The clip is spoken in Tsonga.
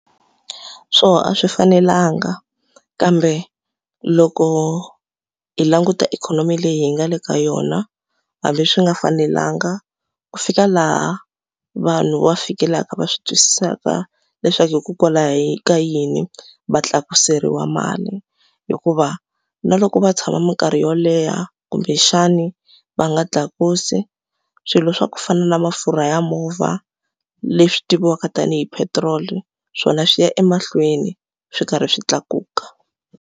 Swona a swi fanelanga kambe loko hi languta ikhonomi leyi hi nga le ka yona hambi swi nga fanelanga ku fika laha vanhu va fikelaka va swi twisisaka leswaku hikokwalaho ka yini va tlakuseriwa mali hikuva na loko va tshama mikarhi yo leha kumbexani va nga tlakusi swilo swa ku fana na mafurha ya movha leswi tiviwaka tanihi petrol swona swi ya emahlweni swi karhi swi tlakuka.